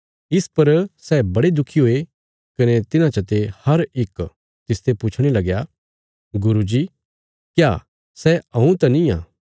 इस पर सै बड़े दुखी हुये कने तिन्हां चते हर इक तिसते पुछणे लगया गुरू जी क्या सै हऊँ त निआं